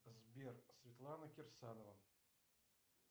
сбер светлана кирсанова